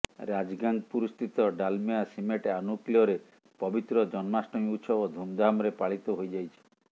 ରାଜଗାଙ୍ଗପୁରସ୍ଥିତ Dalmia cement ଆନୁକୂଲ୍ୟରେ ପବିତ୍ର ଜନ୍ମାଷ୍ଟମୀ ଉତ୍ସବ ଧୁମଧାମରେ ପାଳିତ ହୋଇଯାଇଛି